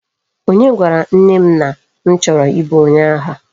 Onye gwara nne m na m choro ibu onye agha?